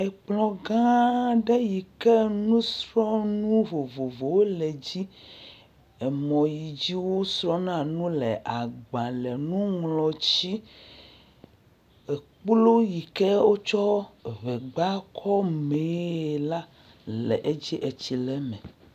Ekplɔ gã aɖe yi ke nusrɔ̃nu vovovowo le dzi. Emɔ yi dzi wosrɔ̃na nu le, agbale, nuŋlɔtsi, ekplu yi ke wotsɔ eŋegba kɔ mi la le edzi etsi le eme.